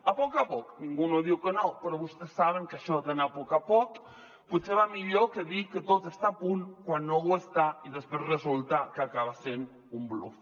a poc a poc ningú no diu que no però vostès saben que això d’anar a poc a poc potser va millor que dir que tot està a punt quan no ho està i després resulta que acaba sent un bluf